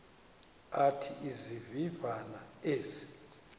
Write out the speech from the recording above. athi izivivane ezi